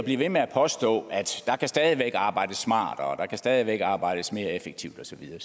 blive ved med at påstå at der stadig arbejdes smartere at der stadig væk kan arbejdes mere effektivt og så videre